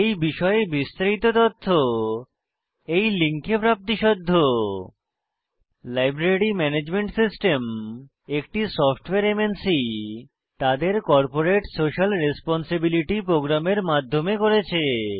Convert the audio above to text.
এই বিষয়ে বিস্তারিত তথ্য এই লিঙ্কে প্রাপ্তিসাধ্য httpspoken tutorialorgNMEICT intro library management system একটি সফ্টওয়্যার এমএনসি তাদের কর্পোরেট সোশিয়াল রেসপন্সিবিলিটি প্রোগ্রামের মাধ্যমে করেছে